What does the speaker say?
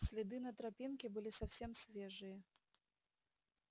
следы на тропинке были совсем свежие